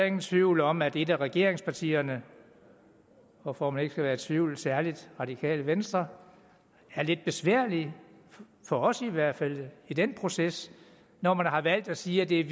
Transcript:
ingen tvivl om at et af regeringspartierne og for at man ikke skal være i tvivl særlig det radikale venstres er lidt besværligt for os i hvert fald i den proces når man har valgt at sige at det er